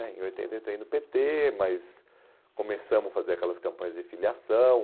né em oitenta entrei no pê tê, mas começamos a fazer aquelas campanhas de filiação.